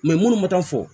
munnu ma taa fɔ